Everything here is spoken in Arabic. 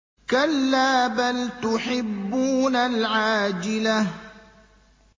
كَلَّا بَلْ تُحِبُّونَ الْعَاجِلَةَ